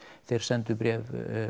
þeir sendu bréf